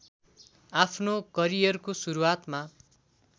आफ्नो करियरको सुरुवातमा